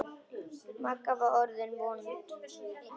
Magga var orðin vond.